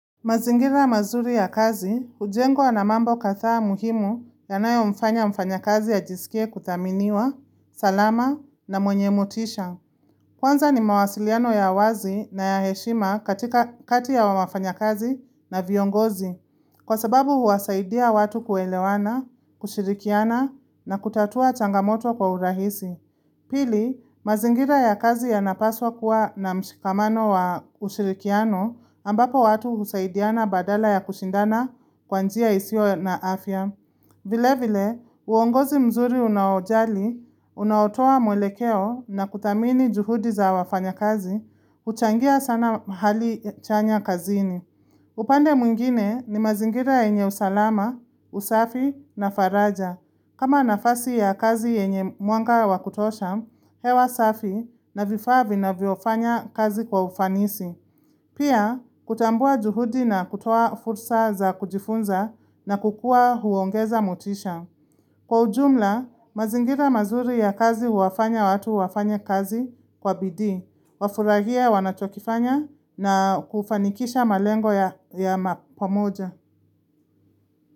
Mazingira mazuri ya kazi, hujengwa na mambo kathaa muhimu ya nayo mfanya mfanya kazi ya ajiskie kuthaminiwa, salama na mwenye motisha. Kwanza ni mawasiliano ya wazi na ya heshima katika kati ya wafanya kazi na viongozi. Kwa sababu huwasaidia watu kuelewana, kushirikiana na kutatua changamoto kwa urahisi. Pili, mazingira ya kazi yanapaswa kuwa na mshikamano wa ushirikiano ambapo watu husaidiana badala ya kushindana kwa njia isio na afya. Vile vile, uongozi mzuri unaojali, unaotoa mwelekeo na kuthamini juhudi za wafanya kazi, huchangia sana hali chanya kazini. Upande mwingine ni mazingira yenye usalama, usafi na faraja. Kama nafasi ya kazi yenye mwanga wa kutosha, hewa safi na vifaa vinavyofanya kazi kwa ufanisi. Pia, kutambua juhudi na kutoa fursa za kujifunza na kukua huongeza motisha. Kwa ujumla, mazingira mazuri ya kazi huwafanya watu wafanye kazi kwa bidii, wafurahie wanachokifanya na kufanikisha malengo ya ma pomoja.